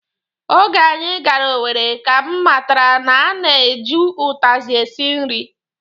Oge anyị gara Owere ka m matara na a na-eju ụtazị esi nri